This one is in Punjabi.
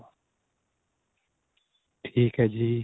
ਠੀਕ ਏ ਜੀ